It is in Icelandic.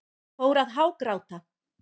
Fór að hágráta.